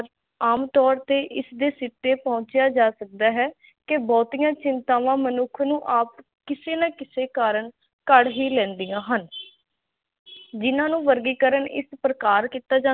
ਆਮ ਤੋਰ ਤੇ ਇਸ ਦੇ ਸਿੱਟੇ ਪਹੁੰਚਿਆ ਜਾ ਸਕਦਾ ਹੈ ਤੇ ਬਹੁਤਿਆਂ ਚਿੰਤਾਵਾਂ ਮਨੁੱਖ ਨੂੰ ਕਿਸੇ ਨਾ ਕਿਸੇ ਕਰਨ ਘੜ ਹੀ ਲੈਂਦੀਆਂ ਹਨ ਜਿੰਨਾ ਨੂੰ ਵਰਗੀਕਰਨ ਇਸ ਪ੍ਰਕਾਰ ਕਿੱਤਾ ਜਾਂਦਾ ਹੈ